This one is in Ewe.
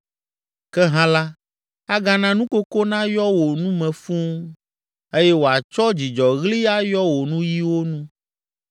Ke hã la, agana nukoko nayɔ wò nu me fũu, eye wòatsɔ dzidzɔɣli ayɔ wò nuyiwo nu.